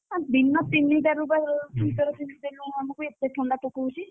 ଦିନ ତିନିଟାରୁ ବା ଆମେ sweater ପିନ୍ଧୁଛୁ ଆମକୁ ଏତେ ଥଣ୍ଡା ପକଉଛି।